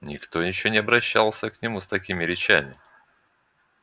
никто ещё не обращался к нему с такими речами